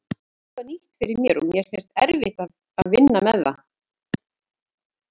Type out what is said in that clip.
Þetta er eitthvað nýtt fyrir mér og mér finnst erfitt að vinna með þetta.